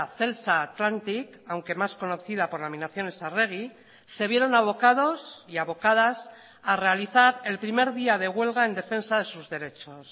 celsa atlantic aunque más conocida por laminaciones arregui se vieron abocados y abocadas a realizar el primer día de huelga en defensa de sus derechos